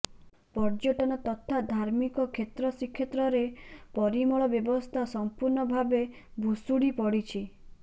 ପର୍ଯ୍ୟଟନ ତଥା ଧାର୍ମିକ କ୍ଷେତ୍ର ଶ୍ରୀକ୍ଷେତ୍ରରେ ପରିମଳ ବ୍ୟବସ୍ଥା ସଂପୂର୍ଣ୍ଣ ଭାବେ ଭୁଷୁଡ଼ି ପଡ଼ିଛି